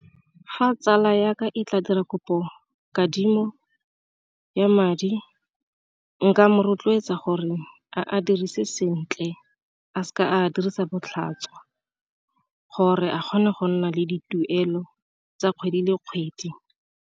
Fa tsala ya ka e tla dira kopo kadimo ya madi, nka mo rotloetsa gore a dirise sentle a seka a dirisa botlhaswa gore a kgone go nna le dituelo tsa kgwedi le kgwedi.